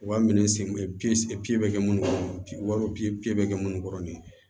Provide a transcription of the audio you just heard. U b'a minɛ sen pikiri bɛ kɛ minnu kɔnɔ bi wa bɛ kɛ munnu kɔrɔ nin ye